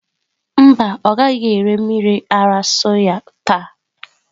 Mba, ọ gaghị ere mmiri ara soya taa.